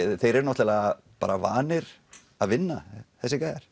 þeir eru náttúrulega bara vanir að vinna þessir gæjar